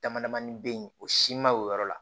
Dama damani bɛ yen o si ma o yɔrɔ la